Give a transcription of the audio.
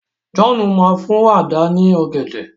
John má fún Àdá ni ògèdè.